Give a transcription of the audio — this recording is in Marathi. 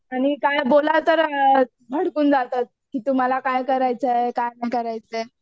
आणि काय बोला तर भडकून जातात की तुम्हाला काय करायचं आहे काय नाही करायचं आहे.